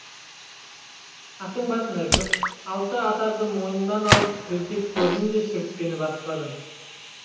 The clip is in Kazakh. аттың басын іркіп алты атарды мойнымнан алып көздеп көрдім де шүріппені баспадым